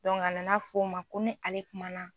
a nana fɔ n ma ko ni ale kumana